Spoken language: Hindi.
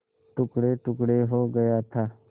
टुकड़ेटुकड़े हो गया था